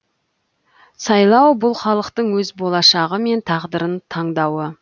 сайлау бұл халықтың өз болашағы мен тағдырын таңдауы